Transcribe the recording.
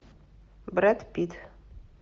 брэд питт